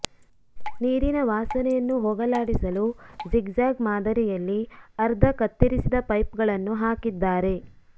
ನೀರಿನ ವಾಸನೆಯನ್ನು ಹೋಗಲಾಡಿಸಲು ಝಿಗ್ಝಾಗ್ ಮಾದರಿಯಲ್ಲಿ ಅರ್ಧ ಕತ್ತರಿಸಿದ ಪೈಪ್ಗಳನ್ನು ಹಾಕಿದ್ದಾರೆ